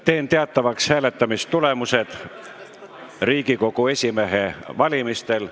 Teen teatavaks hääletamistulemused Riigikogu esimehe valimisel.